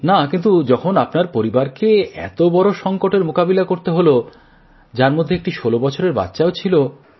না কিন্তু যখন আপনার পরিবারকে এত বড় সংকটের মোকাবিলা করতে হলো যার মধ্যে একটি ষোলো বছরের বাচ্চাও ছিল